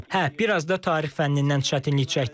Hə, biraz da Tarix fənnindən çətinlik çəkdim.